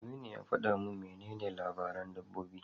Aminu ya faɗa min menene labaran dabbobi.